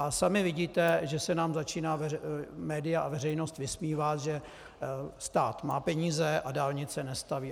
A sami vidíte, že se nám začínají média a veřejnost vysmívat, že stát má peníze, a dálnice nestaví.